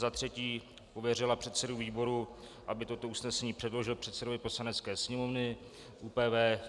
Za třetí pověřila předsedu výboru, aby toto usnesení předložil předsedovi Poslanecké sněmovny - ÚPV.